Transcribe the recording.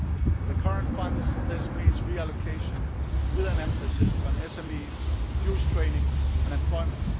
For the current funds this means reallocation with an emphasis on SMEs, youth training and employment.